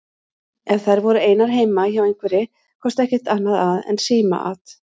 Ef þær voru einar heima hjá einhverri komst ekkert annað að en símaat.